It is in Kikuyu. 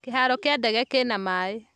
Kĩharo kĩa ndege kĩna maĩ